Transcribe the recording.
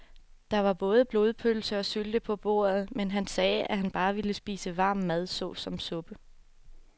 Der var både blodpølse og sylte på bordet, men han sagde, at han bare ville spise varm mad såsom suppe.